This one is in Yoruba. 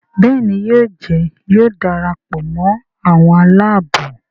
Béèni yóò Njé yóò darapọ̀ mọ àwọn Àlàabò.